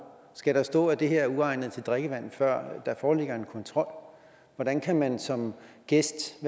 skal der stå at det her er uegnet til drikkevand før der foreligger en kontrol hvordan kan man som gæst